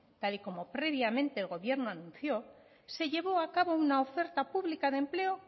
tal y como previamente el gobierno anunció se llevó a cabo una oferta pública de empleo